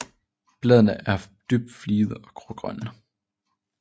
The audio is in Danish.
Bladene er dybt fligede og grågrønne